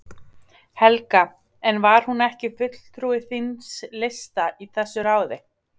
Helga: En var hún ekki fulltrúi þíns lista í þessu ráði?